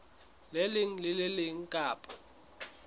leng le le leng kapa